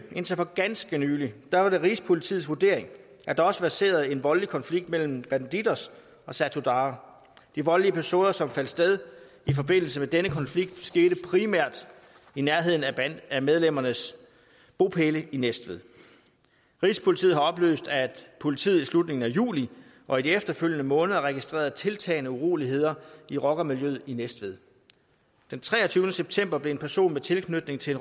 indtil for ganske nylig var det rigspolitiets vurdering at der også verserede en voldelig konflikt mellem bandidos og satudarah de voldelige episoder som fandt sted i forbindelse med denne konflikt skete primært i nærheden af medlemmernes bopæle i næstved rigspolitiet har oplyst at politiet i slutningen af juli og i de efterfølgende måneder registrerede tiltagende uroligheder i rockermiljøet i næstved den treogtyvende september blev en person med tilknytning til